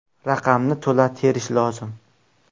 Raqamni to‘la terish lozim.